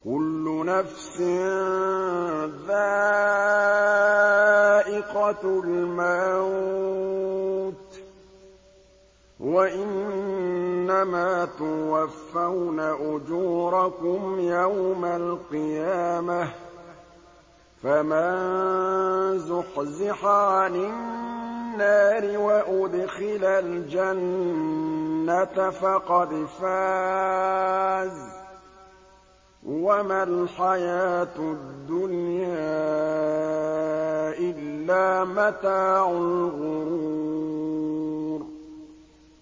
كُلُّ نَفْسٍ ذَائِقَةُ الْمَوْتِ ۗ وَإِنَّمَا تُوَفَّوْنَ أُجُورَكُمْ يَوْمَ الْقِيَامَةِ ۖ فَمَن زُحْزِحَ عَنِ النَّارِ وَأُدْخِلَ الْجَنَّةَ فَقَدْ فَازَ ۗ وَمَا الْحَيَاةُ الدُّنْيَا إِلَّا مَتَاعُ الْغُرُورِ